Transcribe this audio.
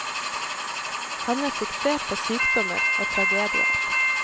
Han er fiksert på sykdommer og tragedier.